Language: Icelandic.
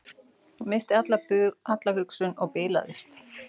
Missti alla hugsun og bilaðist